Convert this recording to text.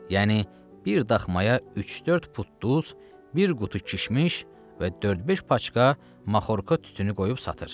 Yəni bir daxmaya üç-dörd put duz, bir qutu kişmiş və dörd-beş paçka maxorka tütünü qoyub satır.